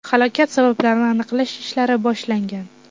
Halokat sabablarini aniqlash ishlari boshlangan.